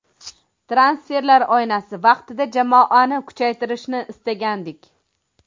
Transferlar oynasi vaqtida jamoani kuchaytirishni istagandik.